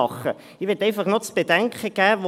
Ich möchte einfach noch zu bedenken geben: